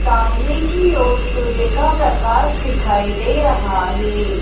सामने की ओर सूर्य का प्रकाश दिखाई दे रहा हैं।